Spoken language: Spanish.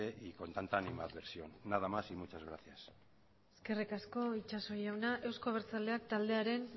y con tanta animadversión nada más y muchas gracias eskerrik asko itxaso jauna euzko abertzaleak taldearen